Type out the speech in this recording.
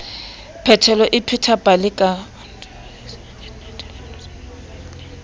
phetelo o pheta pale ka